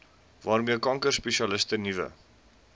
waarmee kankerspesialiste nuwe